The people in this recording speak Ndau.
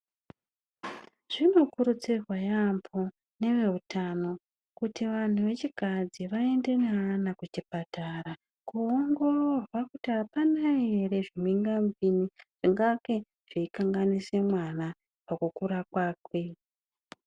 Zvinokurudzirwa yaambo neveutano kuti vanthu vechikadzi vaende neana kuchipatara koongororwa kuti apana ere zvimhingamupini zvingange zveikanganise mwana pakukura kwakwe.